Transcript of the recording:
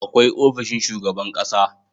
Akwai ofishin shugaban ƙasa